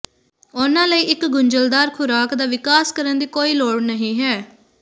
ਉਹਨਾਂ ਲਈ ਇੱਕ ਗੁੰਝਲਦਾਰ ਖ਼ੁਰਾਕ ਦਾ ਵਿਕਾਸ ਕਰਨ ਦੀ ਕੋਈ ਲੋੜ ਨਹੀਂ ਹੈ